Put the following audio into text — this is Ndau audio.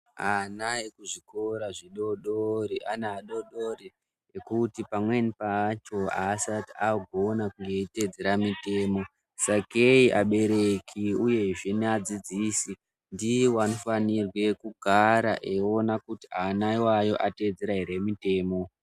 Ana ekuzvikora zvidodori ane adodori nokuti pamweni pacho haasati akugona kuteedzere mitemo sakeyi abereki uyezve neadzidzisi ndio anofanorwe kugara achiona kuti ana ateedzera here mitemo.